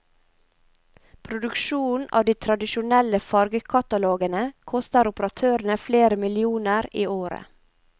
Produksjonen av de tradisjonelle fargekatalogene koster operatørene flere millioner i året.